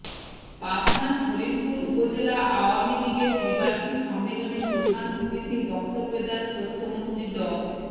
পাবনার ফরিদপুর উপজেলা আওয়ামী লীগের ত্রিবার্ষিক সম্মেলনে প্রধান অতিথির বক্তব্য দেন তথ্যমন্ত্রী ড